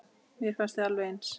Mér fannst þið alveg eins.